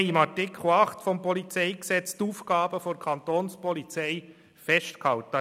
In Artikel 8 PolG haben wir die Aufgaben der Kapo festgehalten.